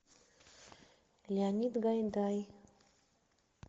леонид гайдай